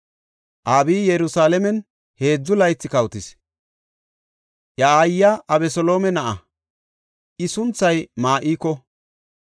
Abiyi Yerusalaamen heedzu laythi kawotis. Iya aayiya Abeseloome na7a; I sunthay Ma7iko.